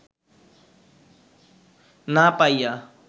না পাইয়া